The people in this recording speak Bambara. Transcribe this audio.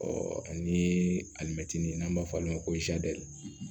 Ɔ ani alimɛtinin n'an b'a fɔ olu ma ko